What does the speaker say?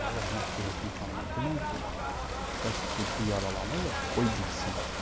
Rəhmətlik Hökümə xanıma denən ki, bəs Zülfü yaralanıb, qoy bilsin.